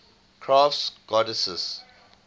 crafts goddesses